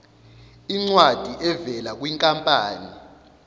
incwadi evela kwinkampani